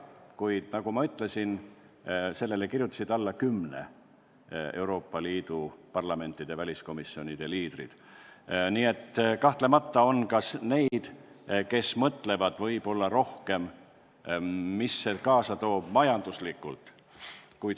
Kuid nagu ma ütlesin, kirjutasid sellele alla kümne Euroopa Liidu riigi parlamendi väliskomisjonide liidrid, nii et kahtlemata on ka neid, kes mõtlevad võib-olla rohkem selle peale, mida see majanduslikult kaasa toob.